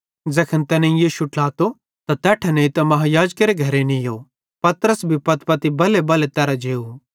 ज़ैखन तैनेईं यीशु ट्लातो तैस तैट्ठां नेइतां महायाजकेरे घरे नीयो पतरस भी पत्तपति बल्हेबल्हे तैरां जेव